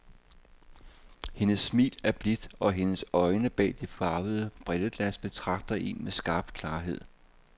Hendes smil er blidt, og hendes øjne bag de farvede brilleglas betragter en med skarp klarhed.